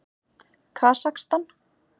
Kasakstan